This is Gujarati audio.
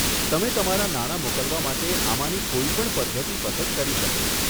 તમે તમારા નાણા મોકલવા માટે આમાંની કોઈ પણ પધ્ધતિ પસંદ કરી શકો.